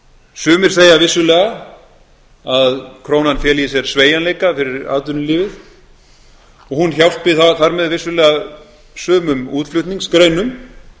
sumir segja vissulega að krónan feli í sér sveigjanleika fyrir atvinnulífið og hún hjálpi þar með vissulega sumum útflutningsgreinum